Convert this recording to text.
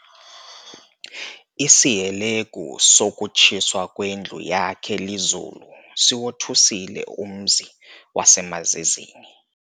Isihelegu sokutshiswa kwendlu yakhe lizulu, siwothusile umzi wasemaZizini.